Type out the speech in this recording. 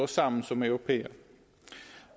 sammen som europæere